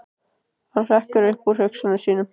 Hann hrekkur upp úr hugsunum sínum.